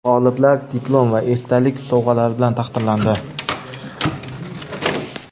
G‘oliblar diplom va esdalik sovg‘alari bilan taqdirlandi!.